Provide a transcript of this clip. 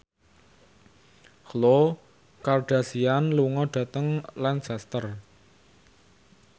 Khloe Kardashian lunga dhateng Lancaster